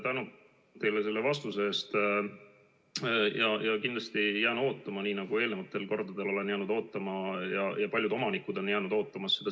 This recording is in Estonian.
Tänu teile selle vastuse eest ja kindlasti ma jään seda selgust ootama – nii nagu ma ka eelmistel kordadel olen jäänud ootama ja paljud omanikud samuti.